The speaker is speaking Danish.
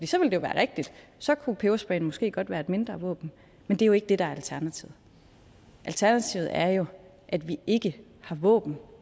så ville det være rigtigt så kunne pebersprayen måske godt være et mindre våben men det er jo ikke det der er alternativet alternativet er jo at vi ikke har våben